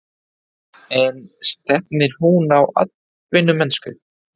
En stefnir hún á atvinnumennsku?